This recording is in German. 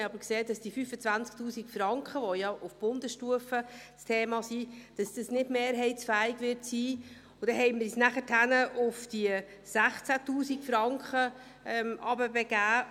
Wir sahen aber, dass diese 25 000 Franken, die ja auf Bundesstufe ein Thema sind, nicht mehrheitsfähig sein werden, und dann begaben wir uns auf diese 16 000 Franken hinunter.